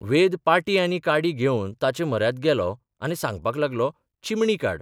वेद पाटी आनी काडी घेवन तांचे म्हऱ्यांत गेलो आनी सांगपाक लागलोः चिमणी काड.